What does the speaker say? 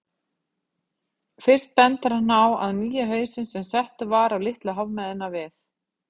Fyrst bendir hann á að nýi hausinn, sem settur var á Litlu hafmeyna við